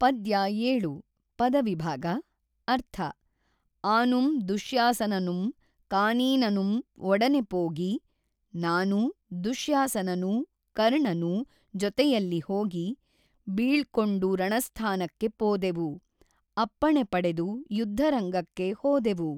ಪದ್ಯ ೭ ಪದವಿಭಾಗ ಅರ್ಥ ಆನುಂ ದುಶ್ಯಾಸನನುಂ ಕಾನೀನನುಂ ಒಡನೆ ಪೋಗಿ ನಾನೂ ದುಶ್ಯಾಸನನೂ ಕರ್ಣನೂ ಜೊತೆಯಲ್ಲಿ ಹೋಗಿ ಬೀೞ್ಕೊಂಡು ರಣಸ್ಥಾನಕ್ಕೆ ಪೋದೆವು ಅಪ್ಪಣೆ ಪಡೆದು ಯುದ್ಧರಂಗಕ್ಕೆ ಹೋದೆವು.